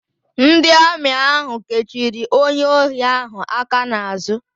Ndị Amị ahụ kechiri onye ohi ahụ aka n'àzụ́.